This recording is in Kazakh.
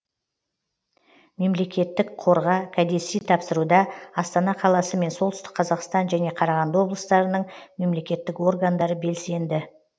мемлекетітк қорға кәдесый тапсыруда астана қаласы мен солтүстік қазақстан және қарағанды облыстарының мемлекеттік органдары белсенді